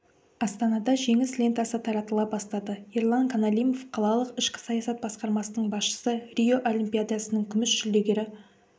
астанада жеңіс лентасы таратыла бастады ерлан қаналимов қалалық ішкі саясат басқармасының басшысы рио олимпиадасының күміс жүлдегері